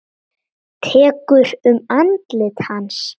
Tekur um andlit hans.